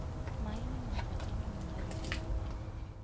Maĩ nĩ ma bata mũno harĩ kũruga.